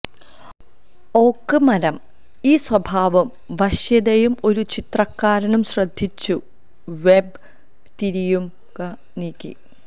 ഓക്ക് മരം ഈ സ്വഭാവം വശ്യതയും ഒരു ചിത്രകാരനും ശ്രദ്ധിച്ചു വെബ് തിരിയുക നീക്കി